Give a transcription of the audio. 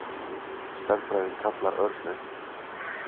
Stærðfræðin kallaði Örn upp.